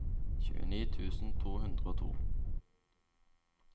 tjueni tusen to hundre og to